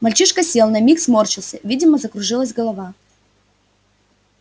мальчишка сел на миг сморщился видимо закружилась голова